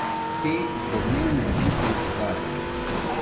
Te domnevne strice iz ozadja.